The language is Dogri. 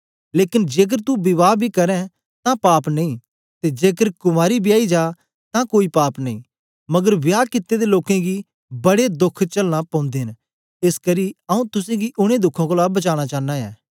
लेकन जेकर तू विवाह बी करें तां पाप नेई ते जेकर कुँवारी वियाई जा तां कोई पाप नेई मगर विहा कित्ते दे लोकें गी बड़े दोख चलना पौंदे न एसकरी आऊँ तुसेंगी उनै दुखें कोलां बचानां चांना ऐं